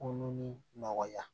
Kolon ni nɔgɔya